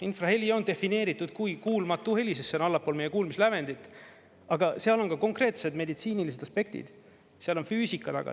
Infraheli on defineeritud kui kuulmatu heli, sest see on allapool meie kuulmislävendit, aga seal on ka konkreetsed meditsiinilised aspektid, seal on füüsika taga.